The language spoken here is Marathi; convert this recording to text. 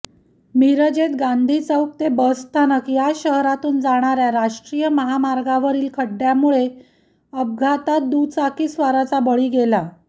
मिरजेत गांधी चौक ते बसस्थानक या शहरातून जाणाऱ्या राष्ट्रीय महामार्गावरील खड्ड्यांमुळे अपघातात दुचाकीस्वाराचा बळी गेला